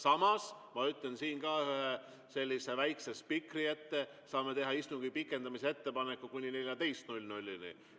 Samas, ma ütlen siin ka sellise väikese spikri ette: me saame teha istungi pikendamise ettepaneku, kuni kella 14-ni.